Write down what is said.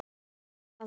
Það var það!